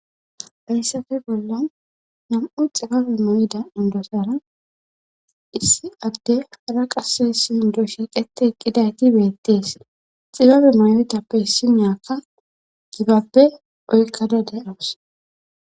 Hayssape bollan nam7u xibabe moyda undosara issi adde hala qase sindo shiiqete eqqidayti beettees xibabe moyletappe issi miyakka gibappe oykkada de7awus.